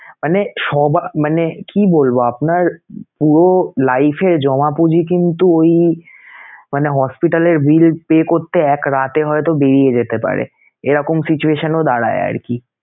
মানে সব মানে কি বলবো আপনার পুরো life এর জমা পুঁজি কিন্তু ওই মানে hospital এর bill pay করতে এক রাতে হয়তো বেরিয়ে যেতে পারে এরকম situation ও দাঁড়ায় আরকি